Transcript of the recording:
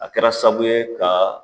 A kɛra sabu ye ka